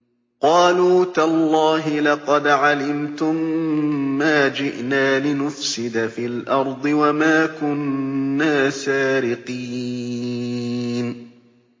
قَالُوا تَاللَّهِ لَقَدْ عَلِمْتُم مَّا جِئْنَا لِنُفْسِدَ فِي الْأَرْضِ وَمَا كُنَّا سَارِقِينَ